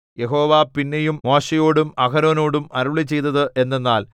യഹോവ പിന്നെയും മോശെയോടും അഹരോനോടും അരുളിച്ചെയ്തത് എന്തെന്നാൽ